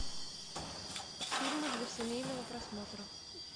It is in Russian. фильмы для семейного просмотра